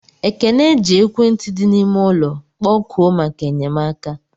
Ekene ji ekwentị di n'ime ụlọ kpọkuo maka enyemaka.